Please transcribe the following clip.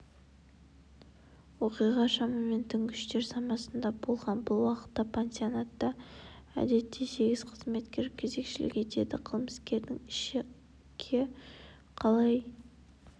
оқиға шамамен түнгі үштер шамасында болған бұл уақытта пансионатта әдетте сегіз қызметкер кезекшілік етеді қылмыскердің ішкеқалай